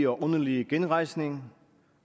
åndelige genrejsning